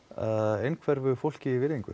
einhverfu fólki virðingu